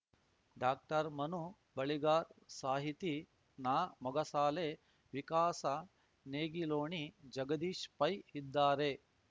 ಡಾಕ್ಟರ್ಮನು ಬಳಿಗಾರ್‌ ಸಾಹಿತಿ ನಾಮೊಗಸಾಲೆ ವಿಕಾಸ ನೇಗಿಲೋಣಿ ಜಗದೀಶ್‌ ಪೈ ಇದ್ದಾರೆ